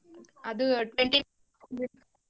ಅದು twenty .